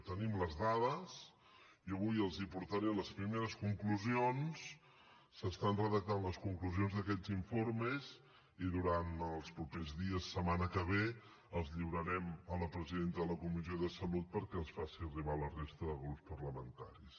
tenim les dades i avui els en portaré les primeres conclusions s’estan redactant les conclusions d’aquests informes i durant els propers dies setmana que ve els lliurarem a la presidenta de la comissió de salut perquè els faci arribar a la resta de grups parlamentaris